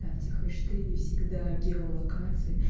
ставте хэштеги всегда геолокации